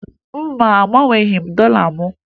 Mba, agbanweghi m dọla m